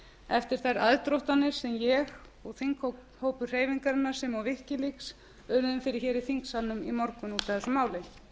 eftir þær aðdróttanir sem ég og þingflokkur hreyfingarinnar sem og wikileaks urðum fyrir í þingsalnum í morgun út af þessu máli